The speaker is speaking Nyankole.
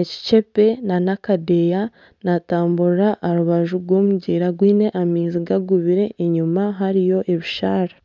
ekicepe n'akadeya natamburira aha rubaju rw'omugyera gwine amaizi gagubire enyuma hariyo ebisharara